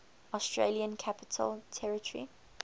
australian capital territory